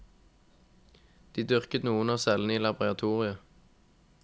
De dyrket noen av cellene i laboratoriet.